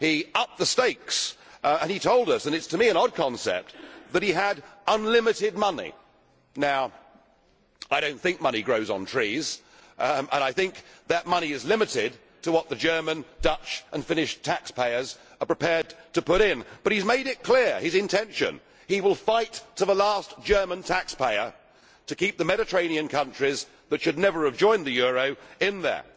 He upped the stakes and he told us and to me it is an odd concept that he had unlimited money. Now, I do not think money grows on trees and I think that money is limited to what the German, Dutch and Finnish taxpayers are prepared to put in, but he has made clear his intention he will fight to the last German taxpayer to keep the Mediterranean countries that should never have joined the euro in there.